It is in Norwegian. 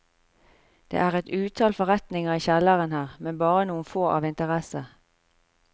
Det er et utall forretninger i kjellerne her, men bare noen få av interesse.